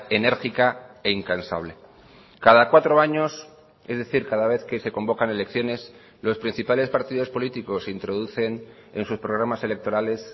enérgica e incansable cada cuatro años es decir cada vez que se convocan elecciones los principales partidos políticos introducen en sus programas electorales